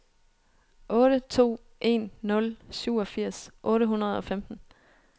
otte to en nul syvogfirs otte hundrede og femten